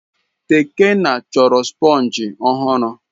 Tekena chọrọ sponge ọhụrụ.